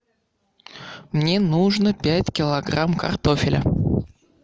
мне нужно пять килограмм картофеля